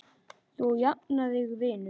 Þú jafnar þig vinur.